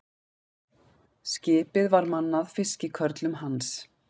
Skipið var mannað fiskikörlum hans.